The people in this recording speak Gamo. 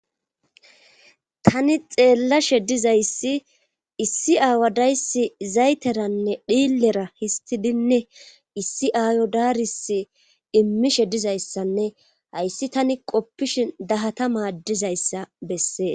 Tani xeellashe dizayssi issi aawadayssi zayteranne dhiillera histidinne issi aayadaaris immishe dizayssanne hayssi tani qoppishin dahata maadizayssa bessees.